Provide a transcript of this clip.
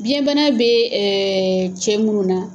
Biɲɛ bana bɛ cɛ munnu na.